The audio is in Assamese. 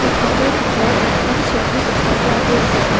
কোঠাটোৰ ভিতৰত এখন চকী দেখা পোৱা গৈছে।